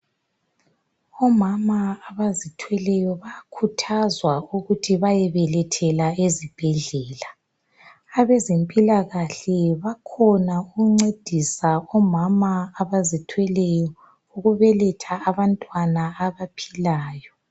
Omama abazithweleyo bayakhuthazwa ukuthi bayebelethela ezibhedlela. Abezempilakahle bakhona ukuncedisa omama abazithweleyo ukubeletha abantwana abaphilayo.